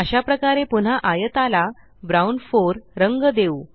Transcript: अशाप्रकारे पुन्हा आयताला ब्राउन 4 रंग देऊ